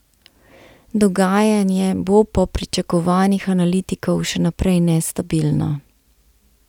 Dogajanje bo po pričakovanjih analitikov še naprej nestabilno.